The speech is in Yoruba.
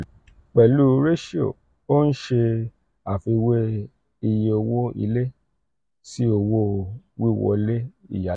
pẹ̀lú p/r ratio o n ṣe àfiwé iye owó ilé si owo-wiwọle iyalo.